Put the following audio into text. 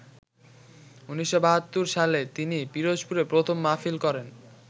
১৯৭২ সালে তিনি পিরোজপুরে প্রথম মাহফিল করেন।